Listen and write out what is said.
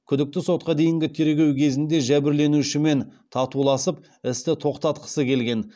күдікті сотқа дейінгі тергеу кезінде жәбірленушімен татуласып істі тоқтатқысы келген